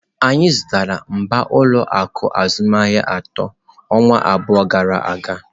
Anyị zụtara mbak n'ụlọ akụ azụmaahịa atọ ọnwa abụọ gara aga.